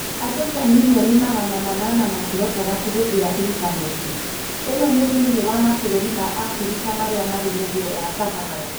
Andũ ta mirioni magana manana matihotaga kũhũthĩra intaneti. ĩno nĩ thĩinĩ wa mabũrũri ma Afrika marĩa marĩ mũhuro wa Sahara.